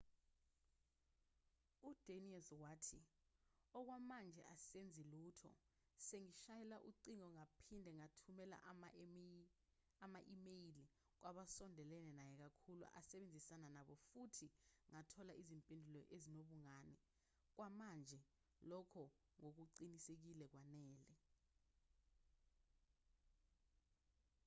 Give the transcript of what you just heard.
udanius wathi okwamanje asenzi lutho sengishayele ucingo ngaphinde ngathumela ama-imeyile kwabasondelene naye kakhulu asebenzisana nabo futhi ngathola izimpendulo ezinobungane okwamanje lokho ngokuqinisekile kwanele